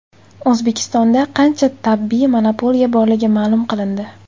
O‘zbekistonda qancha tabiiy monopoliya borligi ma’lum qilindi.